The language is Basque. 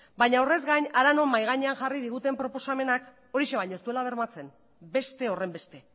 baina horrez gain hara non mahai gainean jarri diguten proposamenak horixe baino ez duela bermatzen beste horrenbeste